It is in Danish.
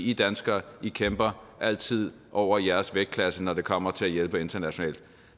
i danskere kæmper altid over jeres vægtklasse når det kommer til at hjælpe internationalt